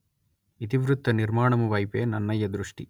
ఇతి వృత్తనిర్మాణము వైపే నన్నయ దృష్ఠి